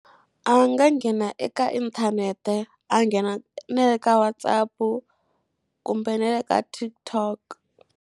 A nga nghena eka inthanete a nghena na le ka WhatsApp-u kumbe na le ka TikTok.